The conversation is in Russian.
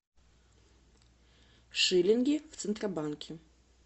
шиллинги в центробанке